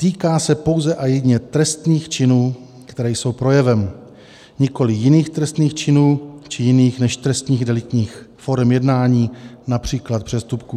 Týká se pouze a jedině trestných činů, které jsou projevem, nikoli jiných trestných činů či jiných než trestných deliktních forem jednání, například přestupků.